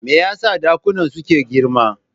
Me yasa dakunan suke girma?